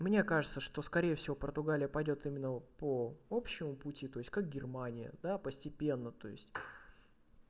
мне кажется что скорее всего португалия пойдёт именно по общему пути то есть как германия да постепенно то есть